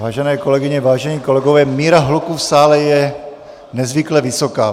Vážené kolegyně, vážení kolegové, míra hluku v sále je nezvykle vysoká.